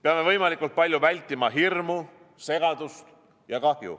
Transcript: Peame võimalikult palju vältima hirmu, segadust ja kahju.